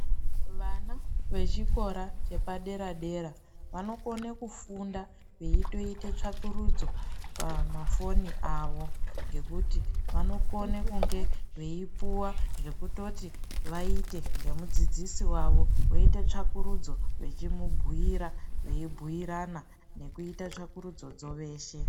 Vana vechikora chepadera-dera vanokona kufunda veitoita tsvakurudzo pamafoni avo ngekuti anokone kunge eipuwa zvokutoti aite ngemudzidzisi wawo woita tsvakurudzo eimubhuira nekuita tsvakurudzodzo veshe.